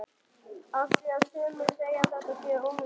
Af því að sumir segja að þetta sé unglingur.